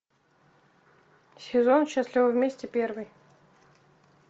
сезон счастливы вместе первый